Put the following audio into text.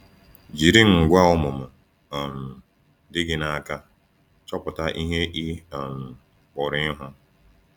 Jiri ngwá ọmụmụ um dị gị n’aka chọpụta ihe ị um pụrụ ịhụ.